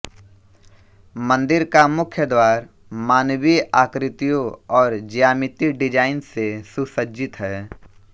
मंदिर का मुख्य द्वार मानवीय आकृतियों और ज्यामिति डिजाइन से सुसज्जित है